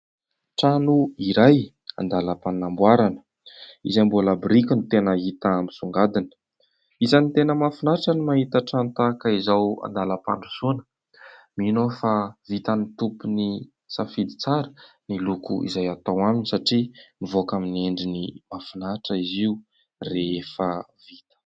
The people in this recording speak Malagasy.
Trano iray andalam-panamboarana izay mbola biriky ny tena hita misongadina, isany tena mahafinaritra ny mahita trano tahaka izao andalam-pandrosoana, mino aho fa vitan'ny tompony safidy tsara ny loko izay atao aminy satria nivoaka amin'ny endriny mahafinaritra izy io rehefa vita.